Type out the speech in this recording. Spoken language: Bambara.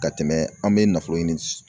Ka tɛmɛ an bɛ nafolo ɲini